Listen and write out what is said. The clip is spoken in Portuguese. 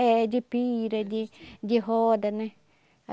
É, de pira, de de roda, né?